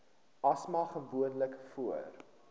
asma gewoonlik voor